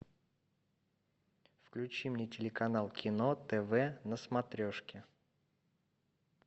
включи мне телеканал кино тв на смотрешке